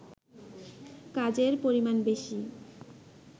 কাজের পরিমাণ বেশি